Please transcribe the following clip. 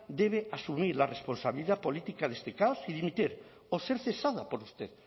debe asumir la responsabilidad política de este caos y dimitir o ser cesada por usted